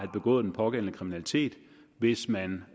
begået den pågældende kriminalitet hvis man